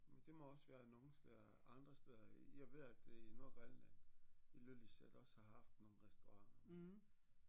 Men det må også være nogle steder andre steder jeg ved at i Nordgrønland Ilulissat også har haft nogle restauranter